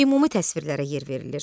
Ümumi təsvirlərə yer verilir.